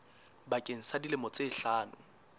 bakeng sa dilemo tse hlano